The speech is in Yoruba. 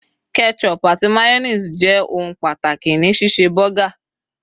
ketchup ati mayonnaise je oun pàtàkì ni ṣíṣe burger